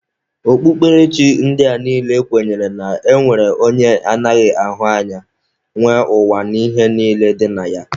Okpukperechi ndị a niile kwenyere na e nwere onye anaghị ahụ anya nwe ụwa na ihe niile dị na ya